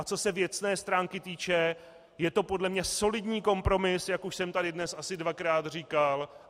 A co se věcné stránky týče, je to podle mne solidní kompromis, jak už jsem tady dnes asi dvakrát říkal.